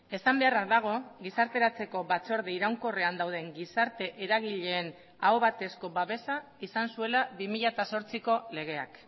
esan beharra dago gizarteratzeko batzorde iraunkorrean dauden gizarte eragileen aho batezko babesa izan zuela bi mila zortziko legeak